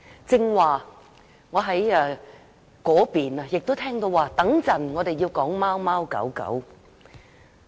剛才在我那邊亦聽到，稍後我們要討論貓貓狗狗。